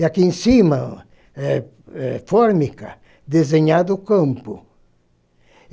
E aqui em cima, é é fórmica, desenhado o campo.